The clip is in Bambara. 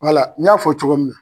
n y'a fɔ cogo min na.